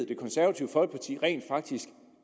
det konservative folkeparti rent faktisk